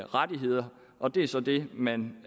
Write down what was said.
rettigheder og det er så det man